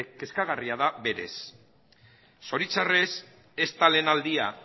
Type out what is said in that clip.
kezkagarria da berez zoritxarrez ez da lehen aldia